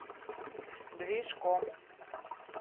движком